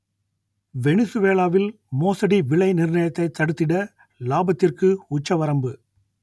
வெனிசுவேலாவில் மோசடி விலை நிர்ணயத்தை தடுத்திட லாபத்திற்கு உச்சவரம்பு